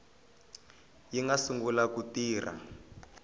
yi nga sungula ku tirha